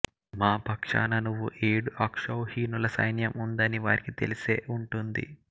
మా పక్షాన నువ్వు ఏడు అక్షౌహినుల సైన్యం ఉందని వారికి తెలిసే ఉంటుంది